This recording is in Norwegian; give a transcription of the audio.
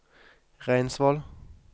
Reinsvoll